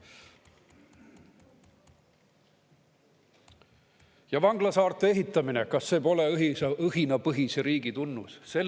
Ja vanglasaarte ehitamine – kas see pole õhinapõhise riigi tunnus?